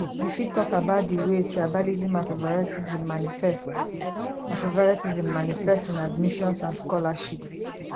you fit talk about di ways tribalism and favoritism manifest and favoritism manifest in admissions and scholarships